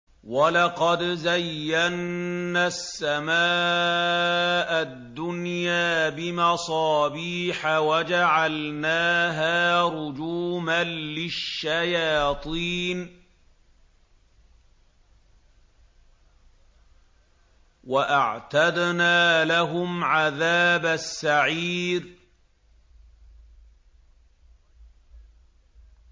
وَلَقَدْ زَيَّنَّا السَّمَاءَ الدُّنْيَا بِمَصَابِيحَ وَجَعَلْنَاهَا رُجُومًا لِّلشَّيَاطِينِ ۖ وَأَعْتَدْنَا لَهُمْ عَذَابَ السَّعِيرِ